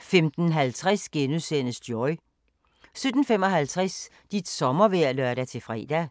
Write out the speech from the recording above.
15:50: Joy * 17:55: Dit sommervejr (lør-fre)